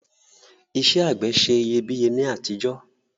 Isẹ́ àgbẹ̀ se iyebíye ni àtijọ́